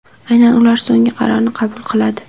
Aynan ular so‘nggi qarorni qabul qiladi.